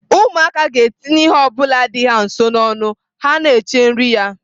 Ụmụaka ga-etinye ihe ọ bụla dị ha nso n'ọnụ ha na-eche nri ya.